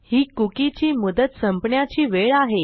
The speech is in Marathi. ही कुकी ची मुदत संपण्याची वेळ आहे